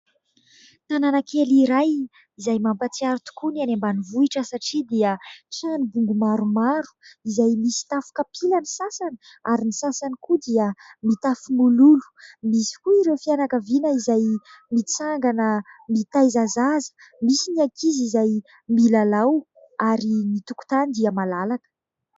Tanàna kely iray izay mampahatsiaro tokoa ny any ambanivohitra satria dia trano bongo maromaro izay misy tafo kapila ny sasany ary ny sasany koa dia mitafo mololo ; misy koa ireo fianakaviana izay mitsangana mitaiza zaza, misy ny akizy izay milalao ary ny tokotany dia malalaka.